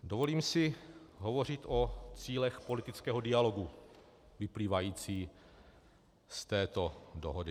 Dovolím si hovořit o cílech politického dialogu vyplývajících z této dohody.